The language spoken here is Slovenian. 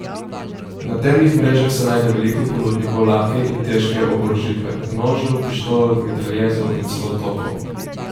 Na temnih mrežah se najde veliko ponudnikov lahke in težke oborožitve, nožev, pištol, mitraljezov in celo topov.